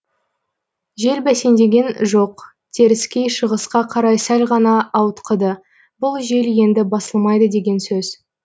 жел бәсеңдеген жоқ теріскей шығысқа қарай сәл ғана ауытқыды бұл жел енді басылмайды деген сөз